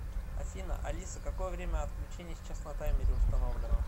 афина алиса какое время отключения сейчас на таймере установлено